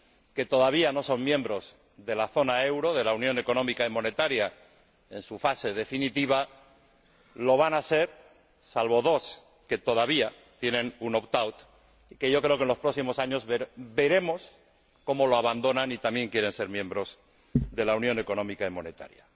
que todavía no son miembros de la zona euro —de la Unión Económica y Monetaria en su fase definitiva— lo van a ser, salvo dos que todavía tienen un opt out, aunque yo creo que en los próximos años veremos cómo lo abandonan y también quieren ser miembros de la Unión Económica y Monetaria.